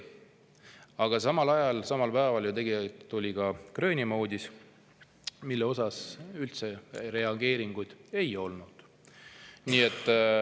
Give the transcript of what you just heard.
Aga samal ajal, samal päeval tuli ka Gröönimaa uudis, mille kohta temalt üldse mingit reageeringut ei tulnud.